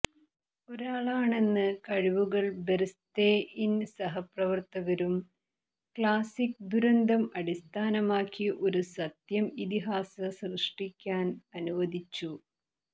ഒരാളാണെന്ന് കഴിവുകൾ ബെര്ംസ്തെഇന് സഹപ്രവർത്തകരും ക്ലാസിക് ദുരന്തം അടിസ്ഥാനമാക്കി ഒരു സത്യം ഇതിഹാസ സൃഷ്ടിക്കാൻ അനുവദിച്ചു